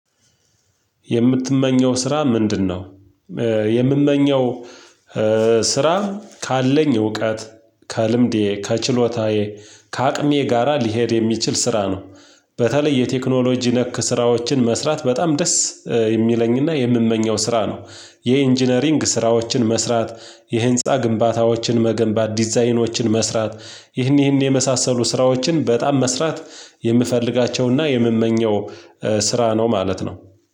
የምትመኘው ስራ ምንድነው? የምመኘው ስራ ካለኝ እውቀት ከልምዴ፣ ከችሎታዬ፤ ከአቅሜ ጋራ ሊሄድ የሚችል ስራ ነው፤ በተለይ የቴክኖሎጂ ነክ ስራዎችን መስራት በጣም ደስ የሚለኝና የምመኘው ስራ ነው፤ የኢንጂነሪንግ ስራዎችን መስራት፣ የህንፃ ግንባታዎችን መገንባት፣ ዲዛይኖችን መስራት ይህን ይህን የመሳሰሉ ስራዎችን በጣም መስራት የምፈልጋቸውና የምመኘው ስራ ነው ማለት ነው።